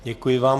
Děkuji vám.